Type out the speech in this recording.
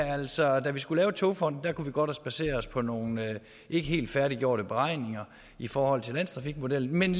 altså da vi skulle lave togfonden dk kunne vi godt basere os på nogle ikke helt færdiggjorte beregninger i forhold til landstrafikmodellen men